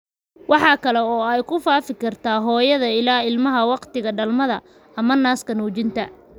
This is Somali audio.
Waxa kale oo ay ku faafi kartaa hooyada ilaa ilmaha wakhtiga dhalmada ama naaska nuujinta.